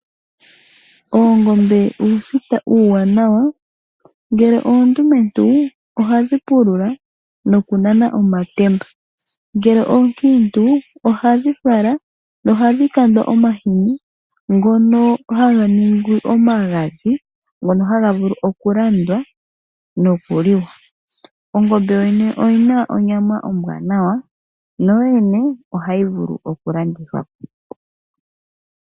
Oongombe uusita uuwanawa, ngele oondumentu ohadhi pulula nokunana omatemba. Ngele oonkiintu ohadhi vala na ohadhi kandwa omahini ngono haga ningi omagadhi, ngono haga vulu okulandwa nokuliwa. Ongombe yoyene oyina onyama ombwaanawa, nahoyene ohayi vulu okulandithwa po.